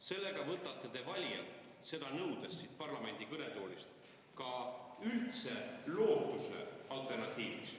Sellega, kui te siit parlamendi kõnetoolist seda nõuate, võtate te valijatelt üldse lootuse alternatiiviks.